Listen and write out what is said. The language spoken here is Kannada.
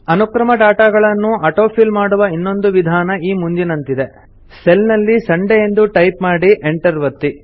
ಅನುಕ್ರಮ ಡಾಟಾ ಗಳನ್ನು ಆಟೋ ಫಿಲ್ ಮಾಡುವ ಇನ್ನೊಂದು ವಿಧಾನ ಈ ಮುಂದಿನಂತಿದೆ ಸೆಲ್ ನಲ್ಲಿ ಸಂಡೇ ಎಂದು ಟೈಪ್ ಮಾಡಿ ಎಂಟರ್ ಒತ್ತಿ